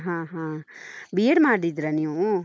ಹ ಹಾ. B.Ed ಮಾಡಿದ್ರಾ ನೀವು?